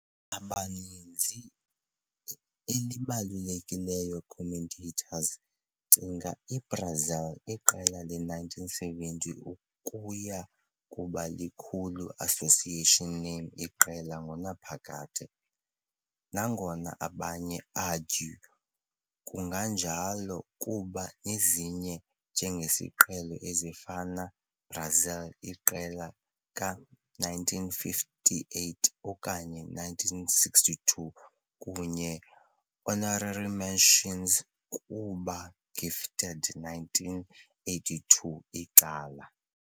Abaninzi elibalulekileyo commentators cinga i-Brazil iqela le 1970 ukuya kuba likhulu association name iqela ngonaphakade, nangona abanye argue kunjalo kuba ezinye njengesiqhelo, ezifana Brazil iqela ka-1958 okanye 1962, kunye honorary mentions kuba gifted 1982 icala.